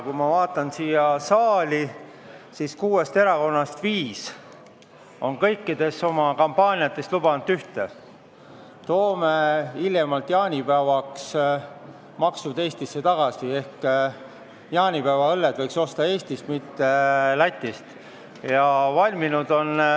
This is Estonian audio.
Kui ma vaatan siia saali, siis näen, et kuuest erakonnast viis on oma kampaanias lubanud ühte: toome hiljemalt jaanipäevaks maksud Eestisse tagasi ehk jaanipäeva õlled võiks osta Eestist, mitte Lätist.